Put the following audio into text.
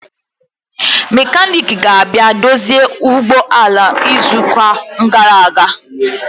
Mekaniki ga-abịa dozie ụgbọ ala izu ụka gara aga